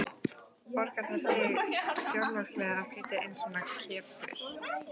Borgar það sig fjárhagslega að flytja inn svona kempur?